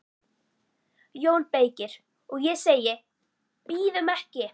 JÓN BEYKIR: Og ég segi: Bíðum ekki!